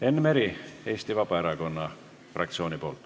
Enn Meri Eesti Vabaerakonna fraktsiooni nimel.